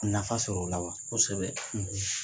Nafa sɔrɔ o la wa ? kosɛbɛ.